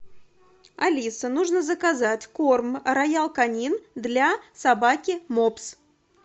алиса нужно заказать корм роял канин для собаки мопс